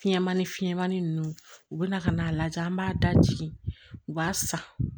Fiɲɛmani fiɲɛmani ninnu u bɛna ka n'a lajɛ an b'a da jigin u b'a san